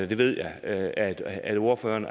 det ved jeg at at ordføreren